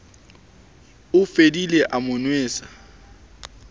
o fodile a mo nwesa